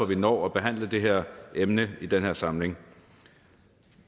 vi når at behandle det her emne i den her samling